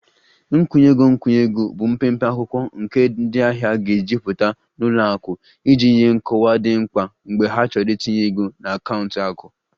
Nkwụnye ego nkwụnye ego bụ mpempe akwụkwọ nke ndị ahịa ga-ejupụta na ụlọ akụ iji nye nkọwa dị mkpa mgbe ha chọrọ itinye ego na akaụntụ akụ